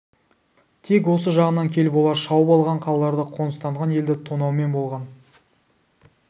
тек осы жағынан келіп олар шауып алған қалаларды қоныстанған елді тонаумен болған